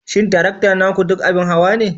Shin tarakta naku duk abin hawa ne?